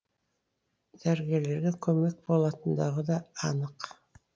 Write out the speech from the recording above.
дәрігерлерге көмек болатындығы да анық